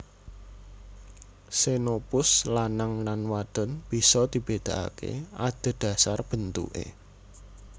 Xenopus lanang lan wadon bisa dibedakake adhedhasar bentuke